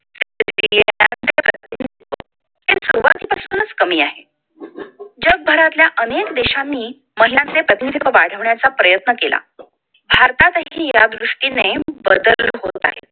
सुरुवातीपासूनच कमी आहे जगभरातल्या अनेक देशांनी महिलांचे प्रतिनिधित्व वाढवण्याचा प्रयत्न केला भारतातही या दृष्टीने बदल होत आहे